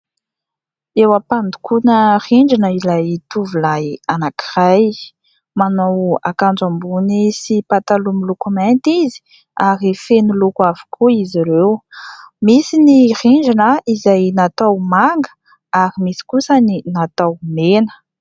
Eo am-pandokoana rindrina ilay tovolahy anankiray, manao ankanjo ambony sy pataloha miloko mainty izy ary feno loko avokoa izy ireo, misy ny rindrina izay natao manga ary misy kosa ny natao mena.